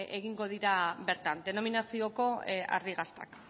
egingo dira bertan denominazioko ardi gaztak